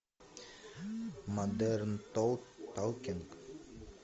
модерн токинг